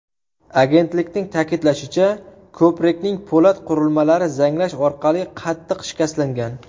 Agentlikning ta’kidlashicha, ko‘prikning po‘lat qurilmalari zanglash orqali qattiq shikastlangan.